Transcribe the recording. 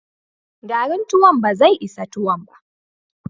Garin tuwon ba zai isa tuwon ba.